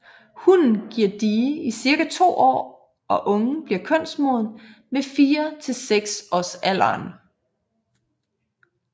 Hunnen giver die i cirka to år og ungen bliver kønsmoden ved 4 til 6 års alderen